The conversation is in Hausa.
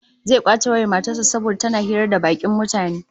Zai kwace wayar matar sa saboda tana hira da bakin mutane